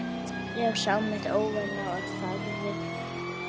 Ég sá mitt óvænna og þagði.